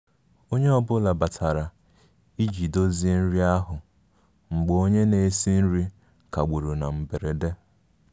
Onye ọ bụla batara iji dozie nri ahụ mgbe onye na-esi nri kagburu na mberede